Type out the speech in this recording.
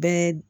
Bɛɛ